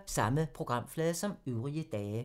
Samme programflade som øvrige dage